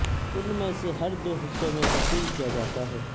ان میں سے ہر دو حصوں میں تقسیم کیا جاتا ہے